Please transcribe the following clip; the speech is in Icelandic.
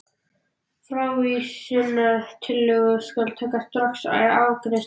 Frávísunartillögu skal taka strax til afgreiðslu.